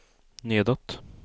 nedåt